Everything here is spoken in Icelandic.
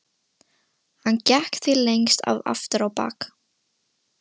Hann gekk því lengst af aftur á bak.